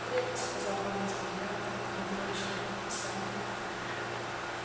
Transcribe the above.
в крепость сказал помощник глянув на командировочное предписание